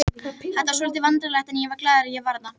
Þetta var svolítið vandræðalegt en ég var glaður að ég var þarna.